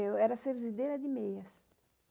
Eu era serzideira de meias.